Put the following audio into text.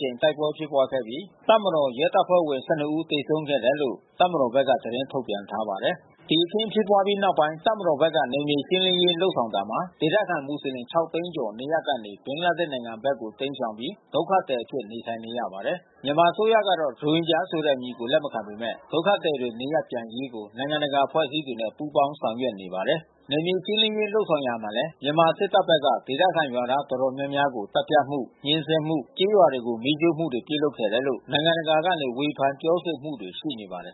ကြိမ် တိုက်ပွဲဖြစ်ပွားခဲ့ပြီး တပ်မတော် ရဲတပ်ဖွဲ့ ဝင် ဦး သေဆုံးခဲ့တယ်လို့ တပ်မတော်ဘက်က သတင်းထုတ်ပြန်ထားပါတယ်။ ဒီအခင်းဖြစ်ပွားပြီးနောက်ပိုင်း တပ်မတော်ဘက်က နယ်မြေရှင်းလင်းရေးလုပ်ဆောင်တာမှာ ဒေသခံမူဆလင် သိန်း ကျော် နေရပ်ကနေ ဘင်္ဂလားဒေ့ရှ် နိုင်ငံဘက်ကို တိမ်းရှောင်ပြီး ဒုက္ခသည်အဖြစ် နေထိုင်နေရပါတယ်။ မြန်မာအစိုးရကတော့ ရိုဟင်ဂျာဆိုတဲ့အမည်ကို လက်မခံပေမဲ့ ဒုက္ခသည်တွေ နေရပ်ပြန်နိုင်ရေးကို နိုင်ငံတကာအဖွဲ့ အစည်းတွေနဲ့ ပူးပေါင်းဆောင်ရွက်နေပါတယ်။ နယ်မြေရှင်းလင်းရေး လုပ်ဆောင်ခဲ့ရာမှာ မြန်မာစစ်တပ်ဖက်က ဒေသခံရွာသား တော်တော်များများကို သတ်ဖြတ်မှု၊ ညှဉ်းဆဲမှု၊ ကျေးရွာတွေကို မီးရှို့မှုတွေ ပြုလုပ်ခဲ့တယ်လို့ နိုင်ငံတကာက ဝေဖန်ပြောဆိုမှု တွေ ရှိနေပါတယ်